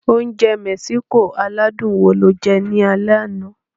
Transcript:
Oúnjẹ Mexico aládùn wo lo jẹ ní alẹ́ àná?